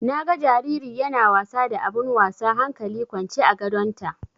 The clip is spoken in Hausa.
Na ga jariri yana wasa da abun wasa hankali kwance a gadonta.